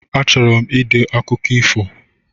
A chọrọ m ide akụkọ ifo